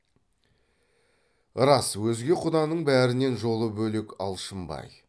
рас өзге құданың бәрінен жолы бөлек алшынбай